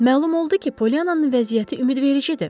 Məlum oldu ki, Poliannanın vəziyyəti ümidvericidir.